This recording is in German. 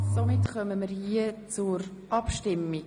Somit kommen wir zur Abstimmung.